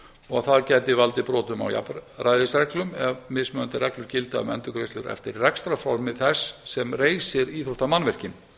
og það gæti valdið brotum á jafnræðisreglu ef mismunandi reglur gilda eftir rekstrarformi þess sem reisir íþróttamannvirki